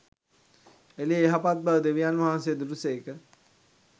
එළිය යහපත් බව දෙවියන්වහන්සේ දුටු සේක.